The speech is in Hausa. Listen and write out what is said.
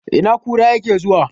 Ina kura yake zuwa?